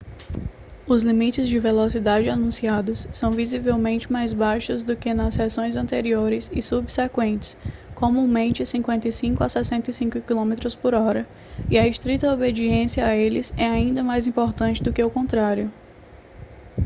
os limites de velocidade anunciados são visivelmente mais baixos do que nas seções anteriores e subsequentes comumente 55-65 km/h e a estrita obediência a eles é ainda mais importante do que o contrário